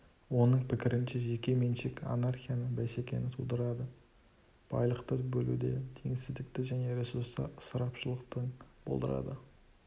оның пікірінше жеке меншік анархияны бәсекені тудырады байлықты бөлуде теңсіздікті және ресурстар ысырапшылдығын болдырады